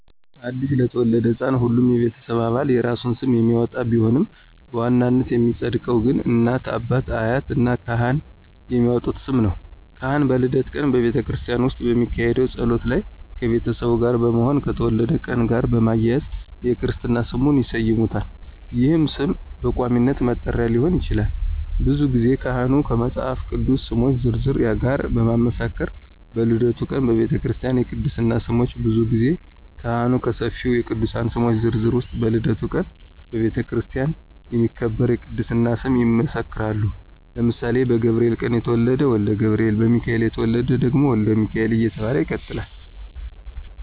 አዲስ ለተወለደ ሕፃን ሁሉም የቤተሰብ አባላት የየራሱን ስም የሚያወጣ ቢሆንም በዋናነት የሚፀድቀው ግን እናት፣ አባት፣ አያት እና ካህን የሚያወጡት ስም ነው። ካህን በልደት ቀን በቤተክርስቲያን ውስጥ በሚካሄደው ጸሎት ላይ ከቤተሰቡ ጋር በመሆን ከተወለደበት ቀን ጋር በማያያዝ የክርስትና ስሙን ይሰይሙታል ይህም ስም በቋሚነት መጠሪያ ሊሆን ይችላል። ብዙ ጊዜ ካህኑ ከመፃፍ ቅዱስ ስሞች ዝርዝር ጋር በማመሳከር በልደቱ ቀን በቤተክርስቲያ የቅድስና ስም ብዙ ጊዜ ካህኑ ከሰፊው የቅዱሳን ስሞች ዝርዝር ውስጥ በልደቱ ቀን በቤተክርስቲያን የሚከበር የቅድስና ስም ይመሰክራሉ ለምሳሌ በገብርኤል ቀን የተወለደ ወልደ ገብርኤል፣ በሚካኤል የተወለደ ደግሞ ወልደ ሚካኤል እየተባለ ይቀጥላለ።